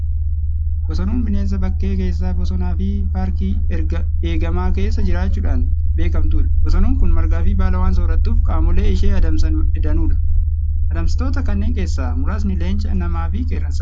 Bosonuun bineensa bakkee keessa bosonaa fi paarkii eegamaa keessa jiraachuudhaan beekamtudha. Bosonuun kun margaa fi baala waan soorattuuf, qaamoleen ishee adamsan danuudha. Adamsitoota kanneen keessaa muraasni leenca, namaa fi qeerransadha.